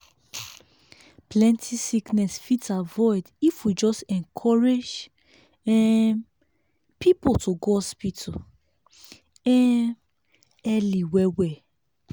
plenty sickness fit avoid if we just encourage um people to go hospital um early well well.